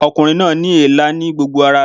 Ọkùnrin náà ní èélá ní gbogbo ara rẹ̀